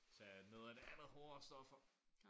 Tage noget af det andet hårdere stoffer